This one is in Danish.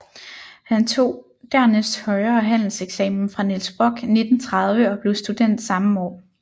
Han tog dernæst højere handelseksamen fra Niels Brock 1930 og blev student samme år